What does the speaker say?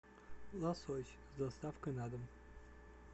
лосось с доставкой на дом